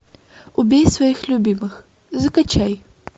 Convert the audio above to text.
убей своих любимых закачай